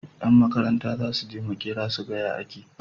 Yan Makaranta zasuje makera suga ya ake